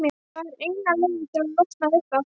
Það er eina leiðin til að losna við það.